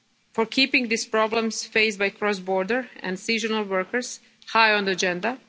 to thank Parliament for keeping these problems faced by cross-border and seasonal workers